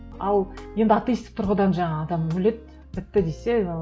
ал енді атеистік тұрғыдан жаңағы адам өледі бітті десе